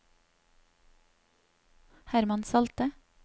Herman Salte